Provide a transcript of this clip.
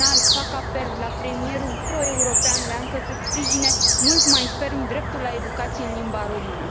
În final, fac apel la premierul pro european Leancă să sprijine mult mai ferm dreptul la educație în limba română.